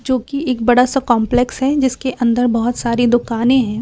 जोकि एक बड़ा सा कंपलेक्स है जिसके अंदर बहोत सारी दुकाने हैं।